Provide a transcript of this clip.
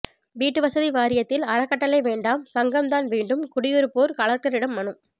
வீட்டு வசதி வாரியத்தில் அறக்கட்டளை வேண்டாம் சங்கம் தான் வேண்டும் குடியிருப்போர் கலெக்டரிடம் மனு